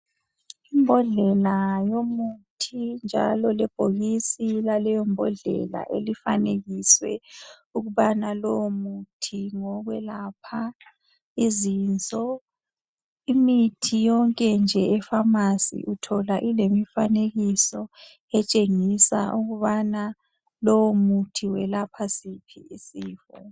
Imbodlela yomuthi njalo lebhokisi laleyo mbodlela elifanekiswe ukubana lowo muthi ngowokwelapha izinso imithi yonke nje ephamacy uthola ilemifanekiso etshengisa ukubana lowo muthi welapha siphi isifo